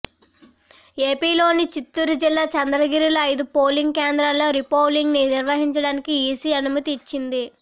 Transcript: ఏపీలోని చిత్తూరు జిల్లా చంద్రగిరిలో ఐదు పోలింగ్ కేంద్రాల్లో రీపోలింగ్ నిర్వహించడానికి ఈసీ అనుమతి ఇచ్చింది